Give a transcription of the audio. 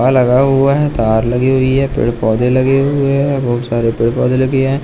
हां लगा हुआ है तार लगी हुई है पेड़ पौधे लगे हुए हैं बहुत सारे पेड़ पौधे लगे हैं।